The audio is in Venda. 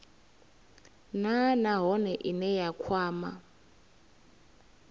nha nahone ine ya kwama